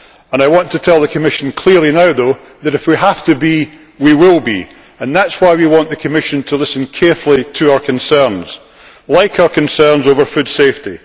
I want to tell the Commission clearly now, though, that if we have to be, we will be, and that is why we want the Commission to listen carefully to our concerns, such as those over food safety.